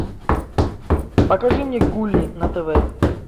покажи мне гули на тв